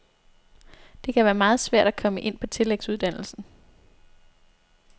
Det kan være meget svært at komme ind på tillægsuddannelsen.